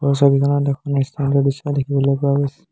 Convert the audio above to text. ওপৰৰ ছবিখনত এখন ৰেষ্টাৰেণ্টৰ দৃশ্য দেখিবলৈ পোৱা গৈছে।